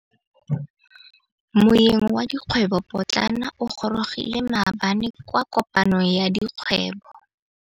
Moêng wa dikgwêbô pôtlana o gorogile maabane kwa kopanong ya dikgwêbô.